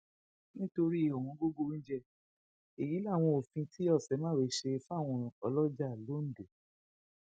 nítorí ọwọngógó oúnjẹ èyí làwọn òfin tí ọṣémáwé ṣe fáwọn ọlọjà l ondo